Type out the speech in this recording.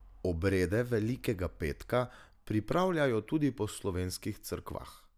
Obrede velikega petka pripravljajo tudi po slovenskih cerkvah.